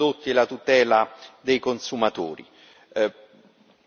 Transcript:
la trasparenza dei prodotti e la tutela dei consumatori.